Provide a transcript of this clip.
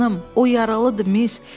O yaralıdır, miss!